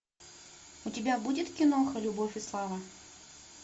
у тебя будет киноха любовь и слава